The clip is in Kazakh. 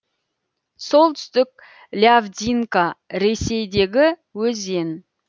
солтүстік лявдинка ресейдегі өзен